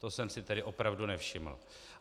To jsem si tedy opravdu nevšiml.